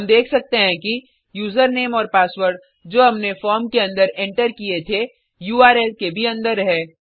हम देख सकते हैं कि यूज़रनेम और पासवर्ड जो हमने फॉर्म के अंदर एंटर किये थे उर्ल के भी अंदर है